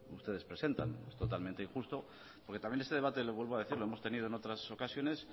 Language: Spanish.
ustedes presentan es totalmente injusto porque también este debate lo vuelvo a decir lo hemos tenido en otras ocasiones